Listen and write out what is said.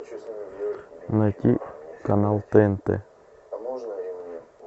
найти канал тнт